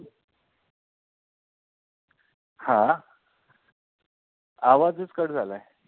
हा आवाजच cut झालाय